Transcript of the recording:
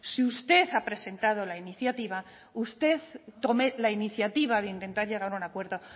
si usted ha presentado la iniciativa usted tome la iniciativa de intentar llegar a un acuerdo